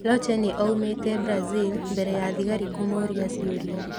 Lotche nĩ oimĩte Brazil mbere ya thigari kũmũũria ciũria